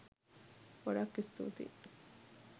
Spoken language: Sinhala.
ගොඩාක් ස්තුතියි